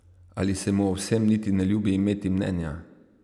Ali se mu o vsem niti ne ljubi imeti mnenja?